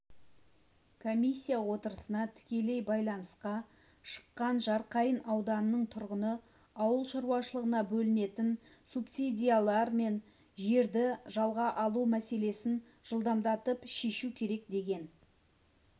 комиссия отырысына тікелей байланысқа шыққан жарқайың ауданының тұрғыны ауыл шаруашылығына бөлінетін субсидиылар мен жерді жалға алу мәселесін жылдамдатып шешу керек деген